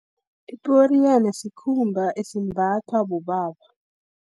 Iporiyana, sikhumba esimbathwa bobaba.